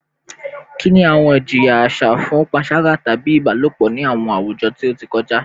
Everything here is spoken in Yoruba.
Kini awọn ijiya aṣa fun panṣaga tabi ibalopọ ni awọn awujọ ti o ti kọja?